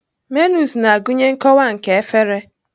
Menus na-agụnye nkọwa nke efere.